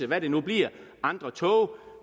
hvad det nu bliver andre tog